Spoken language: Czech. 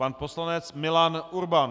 Pan poslanec Milan Urban.